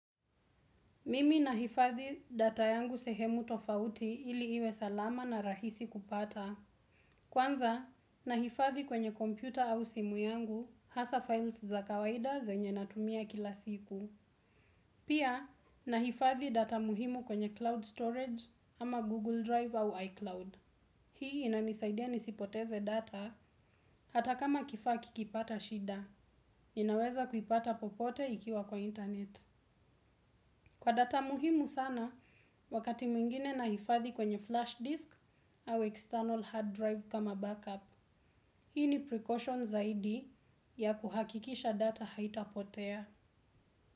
Mimi nahifadhi data yangu sehemu tofauti ili iwe salama na rahisi kupata. Kwanza, nahifadhi kwenye kompyuta au simu yangu, hasa files za kawaida zenye natumia kila siku. Pia, nahifadhi data muhimu kwenye cloud storage ama Google Drive au iCloud. Hii inanisaidia nisipoteze data hata kama kifaa kikipata shida. Ninaweza kuipata popote ikiwa kwa internet. Kwa data muhimu sana, wakati mwingine nahifadhi kwenye flash disk au external hard drive kama backup. Hii ni pre caution zaidi ya kuhakikisha data haitapotea.